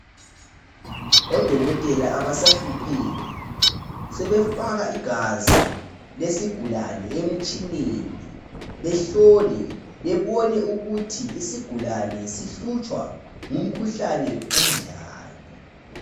Odokoteoa abasahlupheki. Sebefaka igazi lesigulane emtshineni, behlole, bebone ukuthi isigulane sihlutshwa ngumkhuhlane onjani.